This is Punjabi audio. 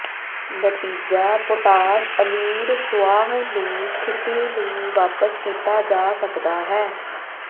ਨਤੀਜਾ ਪੋਟਾਸ਼ ਅਮੀਰ ਸੁਆਹ ਨੂੰ ਸਥਿਤੀ ਨੂੰ ਵਾਪਸ ਕੀਤਾ ਜਾ ਸਕਦਾ ਹੈ